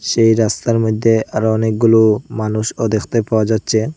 যেই রাস্তার মইধ্যে আরও অনেকগুলো মানুষও দেখতে পাওয়া যাচ্ছে।